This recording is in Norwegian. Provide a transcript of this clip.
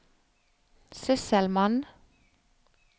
sysselmann